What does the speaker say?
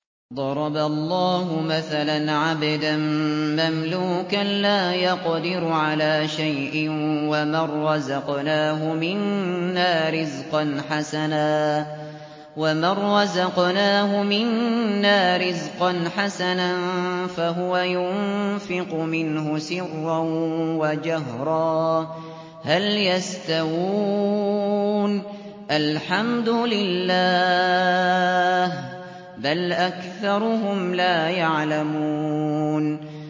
۞ ضَرَبَ اللَّهُ مَثَلًا عَبْدًا مَّمْلُوكًا لَّا يَقْدِرُ عَلَىٰ شَيْءٍ وَمَن رَّزَقْنَاهُ مِنَّا رِزْقًا حَسَنًا فَهُوَ يُنفِقُ مِنْهُ سِرًّا وَجَهْرًا ۖ هَلْ يَسْتَوُونَ ۚ الْحَمْدُ لِلَّهِ ۚ بَلْ أَكْثَرُهُمْ لَا يَعْلَمُونَ